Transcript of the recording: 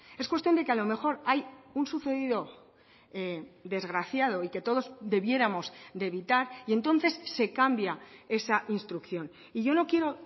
es cuestión de que a lo mejor hay un sucedido desgraciado y que todos debiéramos de evitar y entonces se cambia esa instrucción y yo no quiero